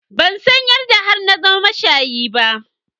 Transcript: Ban san yadda har na zama mashayi ba.